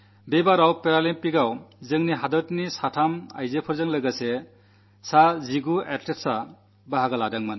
ഇപ്രാവശ്യം പാരാഒളിമ്പിക്സിൽ നമ്മുടെ രാജ്യത്തുനിന്ന് 3 മഹിളകളടക്കം 19 അത് ലറ്റുകൾ പങ്കെടുത്തു